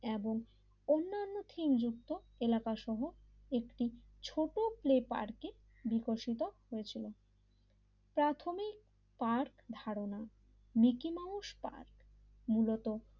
এবং অন্যান্য থিমযুক্ত এলাকা একটি ছোট প্লে পার্কে বিকশিত হয়েছিল প্রাথমিক পার্ক ধারণা মিকি মাউস পার্ক মূলত